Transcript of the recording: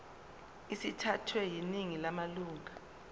sithathwe yiningi lamalunga